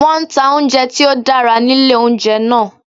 Wọ́n nta oúnjẹ tí ó dára nílé oúnjẹ náà